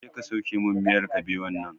Je ka sauke min miyar kabewan nan!